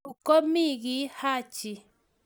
Yu komii kiy Haji.